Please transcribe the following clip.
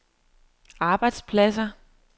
arbejdspladser